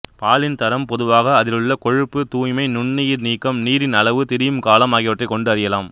பாலின் தரம் பொதுவாக அதிலுள்ள கொழுப்பு தூய்மை நுண்ணுயிர் நீக்கம் நீரின் அளவு திரியும் காலம் ஆகியவற்றைக் கொண்டு அறியலாம்